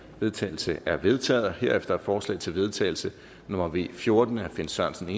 vedtagelse er vedtaget herefter er forslag til vedtagelse nummer v fjorten af finn sørensen